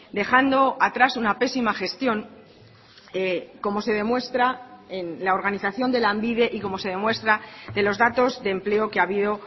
dejando atrás una pésima gestión como se demuestra en la organización de lanbide y como se demuestra de los datos de empleo que ha habido